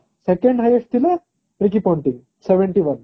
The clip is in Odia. second highest ଥିଲା ରିକି ପୋଣ୍ଟିଙ୍ଗ seventy one